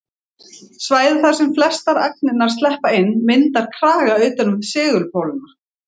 Svæðið þar sem flestar agnirnar sleppa inn myndar kraga utan um segulpólana.